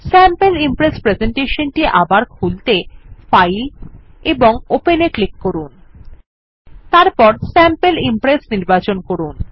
sample impress presentation টি আবার খুলতে ফাইল এবং ওপেন এ ক্লিক করুন এবং তারপর স্যাম্পল ইমপ্রেস নির্বাচন করুন